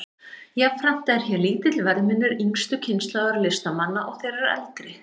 Jafnframt er hér lítill verðmunur yngstu kynslóðar listamanna og þeirrar eldri.